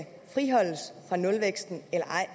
friholdes fra nulvæksten eller ej